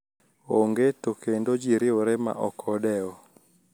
Onge to kendo ji riwore ma ok odewo